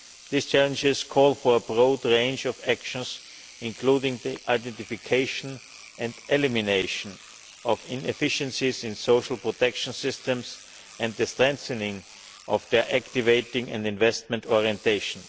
These challenges call for a broad range of actions, including the identification and elimination of inefficiencies in social protection systems and the strengthening of their activating and investment orientation.